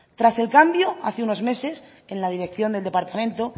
tras el cambio hace unos meses en la dirección del departamento